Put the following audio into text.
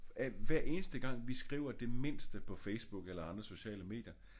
Hver eneste gang vi skriver det mindste på Facebook eller andre sociale medier